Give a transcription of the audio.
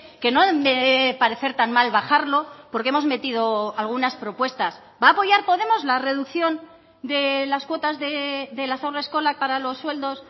que no parecer tan mal bajarlo porque hemos metido algunas propuestas va a apoyar podemos la reducción de las cuotas de las haurreskolak para los sueldos